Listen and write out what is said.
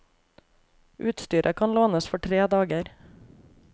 Utstyret kan lånes for tre dager.